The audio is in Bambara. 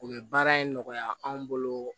U bɛ baara in nɔgɔya anw bolo